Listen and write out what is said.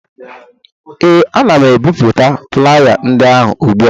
ee, ana m ebipụta flaya ndị ahụ ugbu a